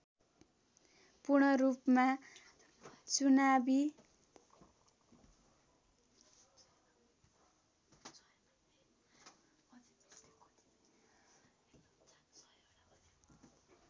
पूर्णरूपमा चुनावी